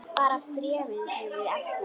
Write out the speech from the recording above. Bara bréfið hefði verið ekta!